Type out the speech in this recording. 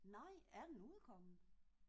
Nej er den udkommen?